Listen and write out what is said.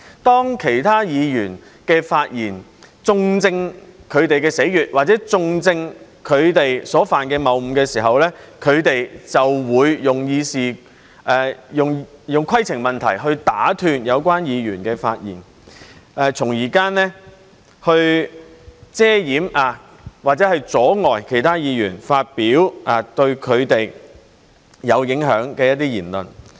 當其他議員的發言中正他們的死穴，或者中正他們所犯的謬誤時，他們就會用規程問題來打斷有關議員的發言，從而遮掩或者阻礙其他議員發表對他們有影響的言論。